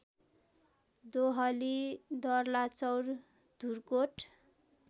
Dohali Darlachaur Dhurkot